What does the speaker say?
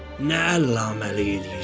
Nə əllaməlik eləyirsən?